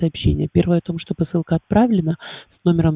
сообщение первое о том что посылка отправлена с номером